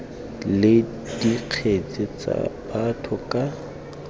le dikgetse tsa batho ka